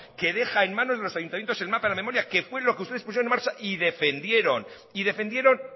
que deja en manos de los ayuntamientos el mapa de la memoria que fue lo que ustedes pusieron en marcha y defendieron y defendieron